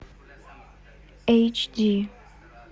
эйч ди